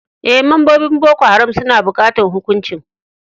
Eh, membobin Boko Haram suna bukatan hukuncin.